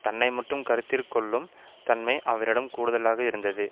தன்னைமட்டும் கருத்திற்கொள்ளும் தன்மை அவரிடம் கூடுதலாக இருந்தது